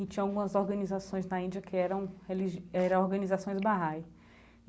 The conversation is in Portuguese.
E tinha algumas organizações na Índia que eram religi eram organizações Bahá'i.